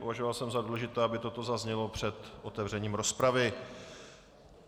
Považoval jsem za důležité, aby toto zaznělo před otevřením rozpravy.